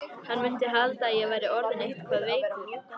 Hann mundi halda að ég væri orðinn eitthvað veikur.